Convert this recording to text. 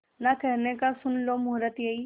ना कहने का सुन लो मुहूर्त यही